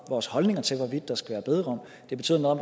vores holdning til hvorvidt der skal være bederum det betyder noget